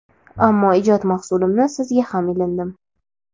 ammo ijod mahsulimni sizga ham ilindim.